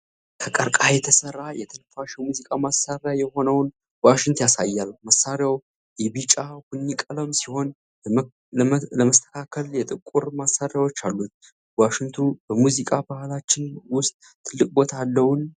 ከቀርከሃ የተሠራ፣ የትንፋሽ የሙዚቃ መሣሪያ የሆነውን ዋሽንት ያሳያል። መሣሪያው የቢጫ/ቡኒ ቀለም ሲሆን፣ ለመስተካከል የጥቁር ማሰሪያዎች አሉት። ዋሽንቱ በሙዚቃ ባህላችን ውስጥ ትልቅ ቦታ አለው?